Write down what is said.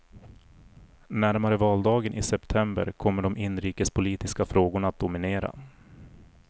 Närmare valdagen i september kommer de inrikespolitiska frågorna att dominera.